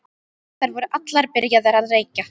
Þær voru allar byrjaðar að reykja.